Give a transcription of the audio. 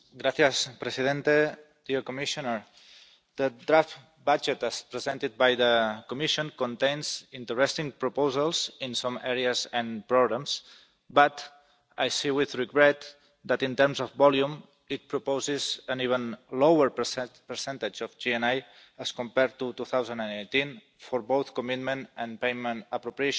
Mr President, the draft budget, as presented by the Commission, contains interesting proposals in some areas, and problems, but I see with regret that in terms of volume it proposes an even lower percentage of GNI as compared to 2010 for both commitment and payment appropriations.